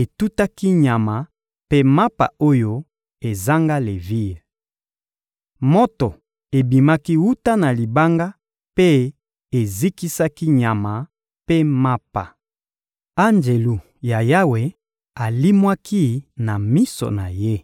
etutaki nyama mpe mapa oyo ezanga levire. Moto ebimaki wuta na libanga mpe ezikisaki nyama mpe mapa. Anjelu ya Yawe alimwaki na miso na ye.